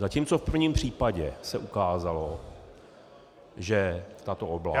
Zatímco v prvním případě se ukázalo, že tato oblast -